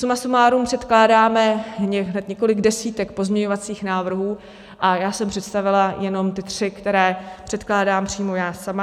Suma sumárum předkládáme hned několik desítek pozměňovacích návrhů a já jsem představila jenom ty tři, které předkládám přímo já sama.